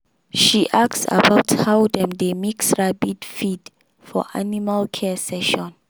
she ask about how dem dey mix rabbit feed for animal care session.